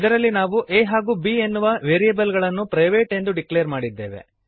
ಇದರಲ್ಲಿ ನಾವು a ಹಾಗೂ b ಎನ್ನುವ ವೇರಿಯಬಲ್ ಗಳನ್ನು ಪ್ರೈವೇಟ್ ಎಂದು ಡಿಕ್ಲೇರ್ ಮಾಡಿದ್ದೇವೆ